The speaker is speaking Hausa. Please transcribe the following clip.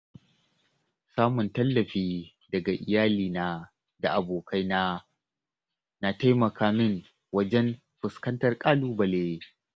Samun tallafi daga iyalina da abokaina na taimaka min wajen fuskantar ƙalubale.